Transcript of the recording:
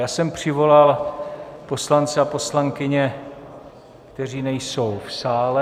Já jsem přivolal poslance a poslankyně, kteří nejsou v sále.